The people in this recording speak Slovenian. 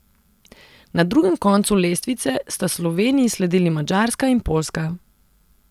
Na drugem koncu lestvice sta Sloveniji sledili Madžarska in Poljska.